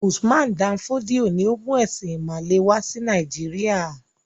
Usman Dan Fodio ni ó mú “ẹ̀sìn-ìmàle” wà sí Nàìjíríà.